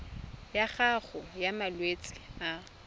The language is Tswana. ya gago ya malwetse a